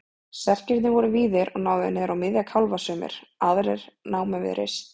Serkirnir voru víðir og náðu niður á miðja kálfa sumir, aðrir námu við rist.